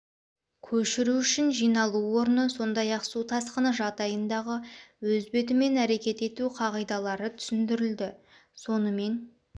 көшіру үшін жиналу орны сондай-ақ су тасқыны жағдайындағы өз бетімен әрекет ету қағидалары түсіндірілді сонымен